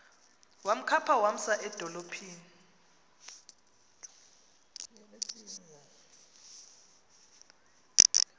wamkhapha wamsa edolophini